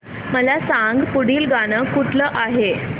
मला सांग पुढील गाणं कुठलं आहे